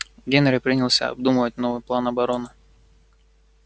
генри принялся обдумывать новый план обороны